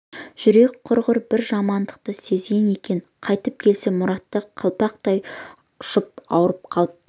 жүрегі құрғыр бір жамандықты сезген екен қайтып келсе мұраты қалпақтай ұшып ауырып қалыпты